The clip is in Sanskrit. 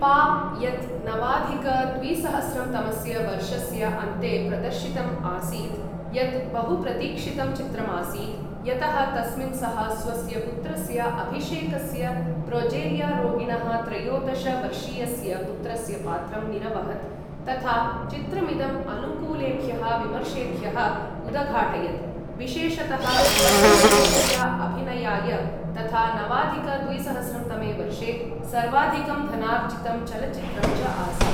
पा, यत् नवाधिक द्विसहस्रं तमस्य वर्षस्य अन्ते प्रदर्शितम् आसीत्, यत् बहुप्रतीक्षितं चित्रम् आसीत्, यतः तस्मिन् सः स्वस्य पुत्रस्य अभिषेकस्य प्रोजेरिया रोगिणः त्रयोदश वर्षीयस्य पुत्रस्य पात्रं निरवहत्, तथा चित्रमिदम् अनुकूलेभ्यः विमर्शेभ्यः उदघाटयत्, विशेषतः बच्चन् वर्यस्य अभिनयाय, तथा नवाधिक द्विसहस्रं तमे वर्षे सर्वाधिकं धनार्जितं चलचित्रम् च आसीत्।